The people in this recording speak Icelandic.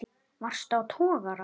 Varstu á togara?